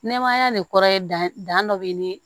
Nɛmaya nin kɔrɔ ye dan dɔ bɛ ni